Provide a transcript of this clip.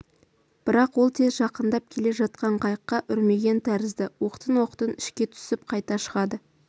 бірақ ол тез жақындап келе жатқан қайыққа үрмеген тәрізді оқтын-оқтын ішке түсіп қайта шығады